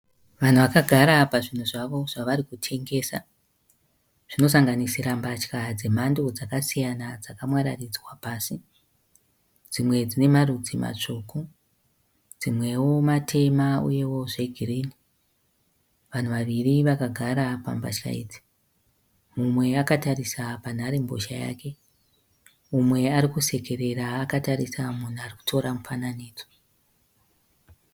Vanhu vakagara pazvinhu zvavo zvavarikutengesa. Zvinosanganisira mbatya dzemhando dzakasiyana dzakamwararidzwa pasi. Dzimwe dzinemarudzi matsvuku. Dzimwewo matema uyewo zvegirinhi. Vanhu vaviri vakagara pambatya idzi. Mumwe akatarisa mbozhanhare yake. Mumwe arikusekerera akatarisa munhu arikutora mufananidzo.